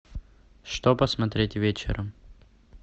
что посмотреть вечером